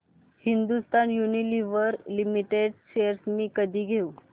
Hindustan Unilever limited shares मी कधी घेऊ